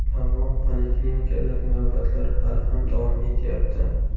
Ammo poliklinikadagi navbatlar hali ham davom etyapti.